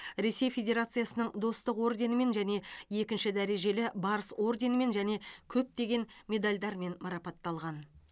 ресей федерациясының достық орденімен және екінші дәрежелі барыс орденімен және көптеген медальдармен марапатталған